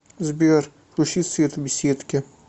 сбер включи свет в беседке